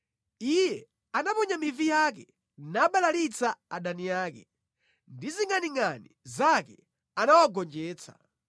Iye anaponya mivi yake nabalalitsa adani ake, ndi zingʼaningʼani zake anawagonjetsa.